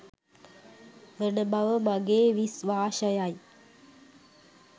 වන බව මගේ විස්වාශයයි